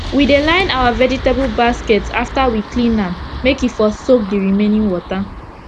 we dey line our vegetable basket after we clean am make e for soak d remaining water